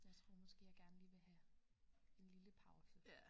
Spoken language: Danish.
Jeg tror måske jeg gerne lige vil have en lille pause